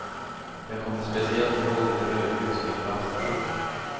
Jag kommer speciellt ihåg ett rödljus vid en brandstation.